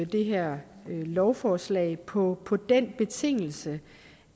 det her lovforslag på på den betingelse